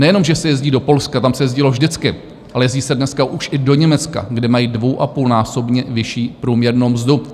Nejenom že se jezdí do Polska, tam se jezdilo vždycky, ale jezdí se dneska už i do Německa, kde mají dvou a půl násobně vyšší průměrnou mzdu.